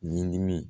Ɲimini